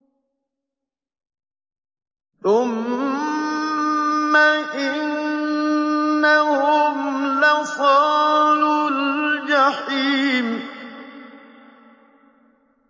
ثُمَّ إِنَّهُمْ لَصَالُو الْجَحِيمِ